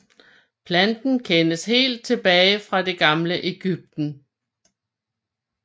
Planten kendes helt tilbage fra det gamle Egypten